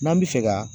N'an bɛ fɛ ka